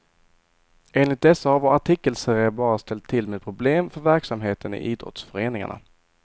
Enligt dessa har vår artikelserie bara ställt till med problem för verksamheten i idrottsföreningarna.